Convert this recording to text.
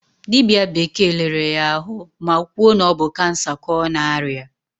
Dibịa bekee lere ya ahụ ma kwuo na ọ bụ kansa ka ọ na-arịa.